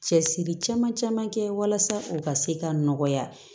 Cɛsiri caman caman kɛ walasa u ka se ka nɔgɔya